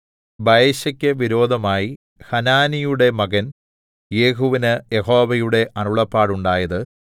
ബയെശക്ക് വിരോധമായി ഹനാനിയുടെ മകൻ യേഹൂവിന് യഹോവയുടെ അരുളപ്പാടുണ്ടായത്